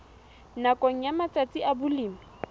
nakong ya matsatsi a balemi